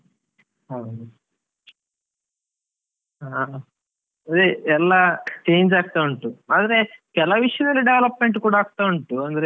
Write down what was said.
ಹ ಹ ಅದೇ ಎಲ್ಲ change ಅಗ್ತಾ ಉಂಟು ಆದ್ರೆ ಕೆಲವ್ ವಿಷ್ಯದಲ್ಲಿ development ಕೂಡ ಆಗ್ತಾ ಉಂಟು ಅಂದ್ರೆ.